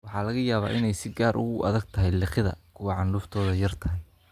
Waxa laga yaabaa inay si gaar ah ugu adag tahay liqidda kuwa candhuuftoodu yar tahay.